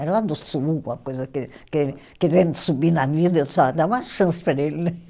Era lá do sul, uma coisa que, que ele querendo subir na vida, eu só dava uma chance para ele, né?